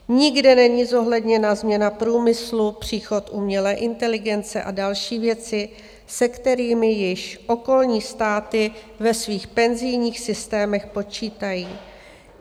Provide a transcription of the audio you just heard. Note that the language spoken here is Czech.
Nikde není zohledněna změna průmyslu, příchod umělé inteligence a další věci, se kterými již okolní státy ve svých penzijních systémech počítají.